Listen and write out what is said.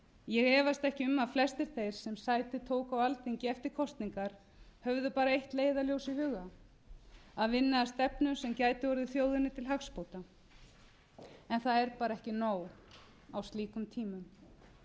ég efast ekki um að flestir þeir sem sæti tóku á alþingi eftir kosningar höfðu bara eitt leiðarljós í huga að vinna að stefnu sem gæti orðið þjóðinni til hagsbóta en það er bara ekki nóg á slíkum tímum